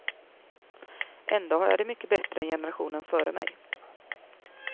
Ändå har jag det mycket bättre än generationen före mig.